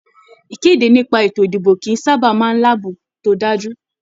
Ìkéde nípa ètò ìdìbò kìí sábà máa láàbò to dájú.